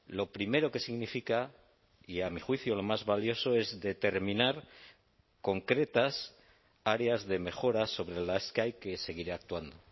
lo primero que significa y a mi juicio lo más valioso es determinar concretas áreas de mejora sobre las que hay que seguir actuando